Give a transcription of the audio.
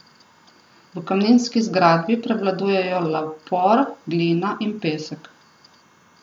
V kamninski zgradbi prevladujejo lapor, glina in pesek.